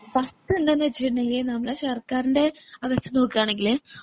first എന്താന്ന് വെച്ചിട്ടുണ്ടെങ്കിൽ നമ്മള് സർക്കാരിൻറെ അവസ്ഥ നോക്കാന്നുണ്ടെങ്കില്